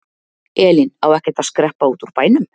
Elín: Á ekkert að skreppa út úr bænum?